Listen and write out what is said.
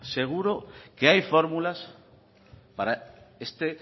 seguro que hay fórmulas para este